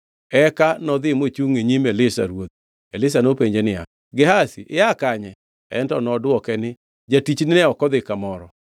Eka nodhi mochungʼ e nyim Elisha ruodhe. Elisha openje niya, “Gehazi, ia kanye?” En to nodwoke ni, Jatichni ne ok odhi kamoro.